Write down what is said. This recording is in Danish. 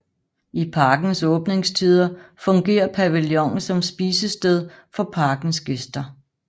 I parkens åbningstider fungerer pavillonen som spisested for parkens gæster